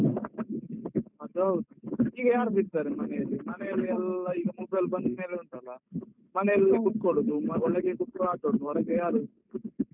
ಅದು ಹೌದು. ಈಗ ಯಾರು ಬಿಡ್ತಾರೆ ಮನೆಯಲ್ಲಿ ಮನೆಯಲ್ಲಿ ಎಲ್ಲ ಈಗ mobile ಬಂದ್ಮೇಲೆ ಉಂಟಲ್ಲ, ಮನೆಯಲ್ಲೇ ಕುತ್ಕೊಳ್ಳುದು, ಒಳಗೆ ಕುತ್ಕೊಂಡು ಆಟ ಆಡುದು, ಹೊರಗೆ ಯಾರೂ.